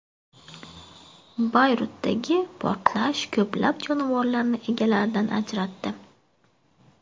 Bayrutdagi portlash ko‘plab jonivorlarni egalaridan ajratdi.